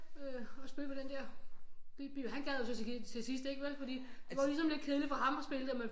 Øh og spille på den der bip bip han gad så til sidst ikke vel fordi det var ligesom lidt kedeligt for ham at spille det men